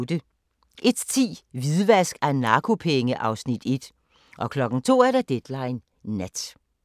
01:10: Hvidvask af narkopenge (Afs. 1) 02:00: Deadline Nat